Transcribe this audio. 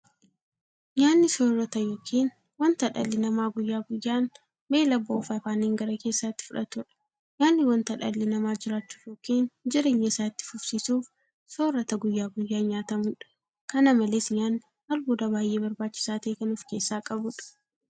Nyaanni soorota yookiin wanta dhalli namaa guyyaa guyyaan beela ba'uuf afaaniin gara keessaatti fudhatudha. Nyaanni wanta dhalli namaa jiraachuuf yookiin jireenya isaa itti fufsiisuuf soorata guyyaa guyyaan nyaatamudha. Kana malees nyaanni albuuda baay'ee barbaachisaa ta'e kan ofkeessaa qabudha.